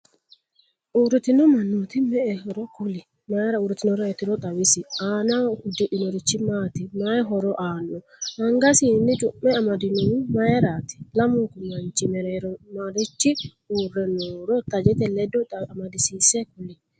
uuritinno manooti me'ehoro kuli? mayiira uuritinnoreetirono xawisi? aanaho udidhinorichi maati? mayi horo aano? angasinni cumme amadinoho mayiirati? lamunku mannichi mereero marichi uure nooro tajette leddo amadisiise kuli?